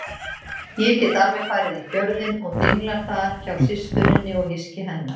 Ég get alveg farið í Fjörðinn og dinglað þar hjá systurinni og hyski hennar.